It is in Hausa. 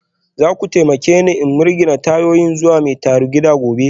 Za ku taimake ni in mirgine tayoyin zuwa mai tarugida gobe?